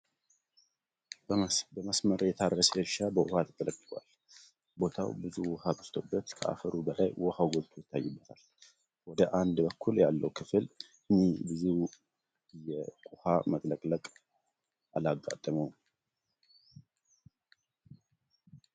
በመስመር የታረሰ እርሻ በዉሃ ተጥለቅልቋል። ቦታው ብዙ ዉሃ በዝቶበት ከአፈሩ በላይ ዉሃው ጎልቶ ይታይበታል። ወደ አንድ በኩል ያለው ክፍል ኝ ብዙ የቁሃ መጥለቅለቅ አላጋጠመውም።